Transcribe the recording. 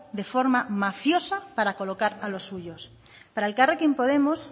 de forma mafiosa para colocar a los suyos para elkarrekin podemos